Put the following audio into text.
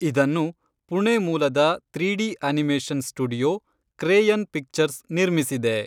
ಇದನ್ನು, ಪುಣೆ ಮೂಲದ three D animation studio, Crayon Pictures ,ನಿರ್ಮಿಸಿದೆ.